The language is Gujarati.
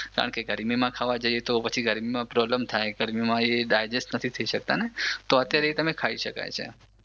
કારણ કે ગરમીમાં ખાવા જઈએ તો ગરમીમાં પ્રોબ્લેમ થાય ગરમીમાં એ ડાયજેસ્ટ નથી થઈ શકતા ને તો અત્યારે તે ખાઈ શકાય છે